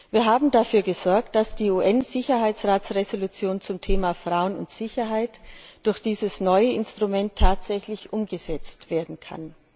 Wir haben dafür gesorgt, dass die UN Sicherheitsratsresolution zum Thema Frauen und Sicherheit durch dieses neue Instrument tatsächlich umgesetzt werden kann.